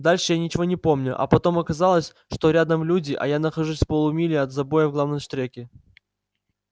дальше я ничего не помню а потом оказалось что рядом люди а я нахожусь в полумиле от забоя в главном штреке